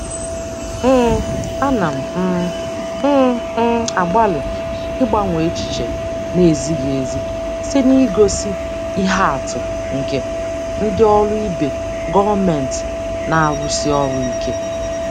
um Ana um m m agbalị ịgbanwe echiche na-ezighị ezi site n'igosi ihe atụ nke ndị ọrụ ibe gọọmentị na-arụsi ọrụ ike.